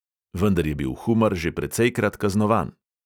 Vendar je bil humar že precejkrat kaznovan.